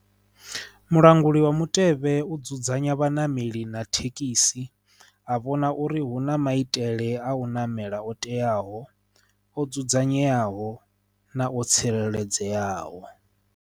Mulanguli wa mutevhe u dzudzanya vhaṋameli na thekhisi a vhona uri hu na maitele a u namela o teaho o dzudzanyeaho na o tsireledzeaho.